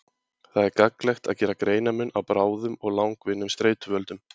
Það er gagnlegt að gera greinarmun á bráðum og langvinnum streituvöldum.